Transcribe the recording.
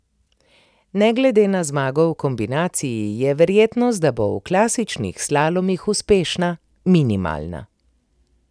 Ne glede na zmago v kombinaciji, je verjetnost, da bo v klasičnih slalomih uspešna, minimalna.